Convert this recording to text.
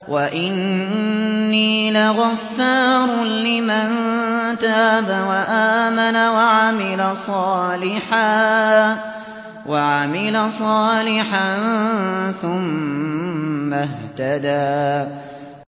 وَإِنِّي لَغَفَّارٌ لِّمَن تَابَ وَآمَنَ وَعَمِلَ صَالِحًا ثُمَّ اهْتَدَىٰ